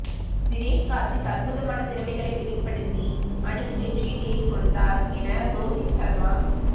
தினேஸ் கார்த்திக் அற்புதமான திறமைகளை வெளிப்படுத்தி அணிக்கு வெற்றியை தேடிக் கொடுத்தார் என ரோஹித் சர்மா